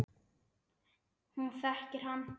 Hún þekkir hann.